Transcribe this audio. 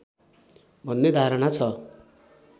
भन्ने धारणा छ